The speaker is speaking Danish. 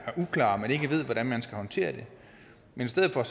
uklar men ikke ved hvordan man skal håndtere det men i stedet for at